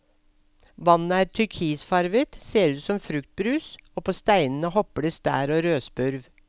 Vannet er turkisfarget, ser ut som fruktbrus, og på steinene hopper det stær og rødspurv.